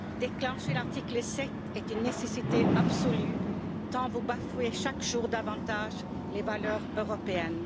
Déclencher l'article 7 est une nécessité absolue, tant vous bafouez chaque jour davantage les valeurs européennes.